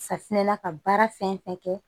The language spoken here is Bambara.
Safunɛ na ka baara fɛn fɛn kɛ